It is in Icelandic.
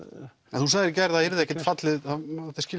en þú sagðir í gær að það yrði ekkert fallið